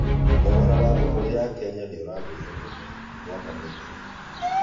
Thogora wa thugũrĩ ya Kenya nĩ ũragũĩre mũno mwaka muthĩrũ